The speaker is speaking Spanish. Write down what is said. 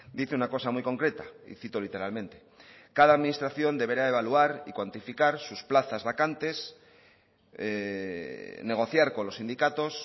dice una cosa muy concreta y cito literalmente cada administración deberá evaluar y cuantificar sus plazas vacantes negociar con los sindicatos